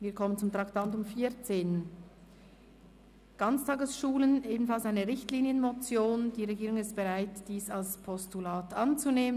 Die Regierung ist bereit, die Richtlinienmotion «Ganztagesschulen» als Postulat anzunehmen.